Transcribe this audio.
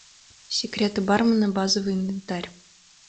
секреты бармена базовый инвентарь